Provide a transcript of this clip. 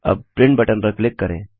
अब print button पर click करें